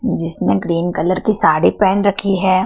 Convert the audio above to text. जिसने green colour की साड़ी पहेन रखी है।